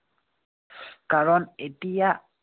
কাৰণ এতিয়া